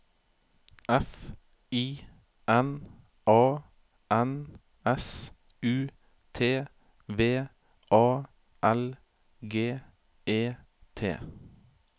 F I N A N S U T V A L G E T